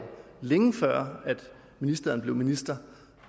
længe før ministeren blev minister